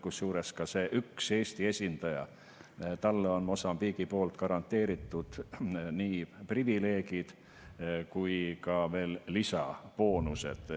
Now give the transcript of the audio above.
Kusjuures sellele ühele Eesti esindajale on Mosambiigi poolt garanteeritud nii privileegid kui ka lisaboonused.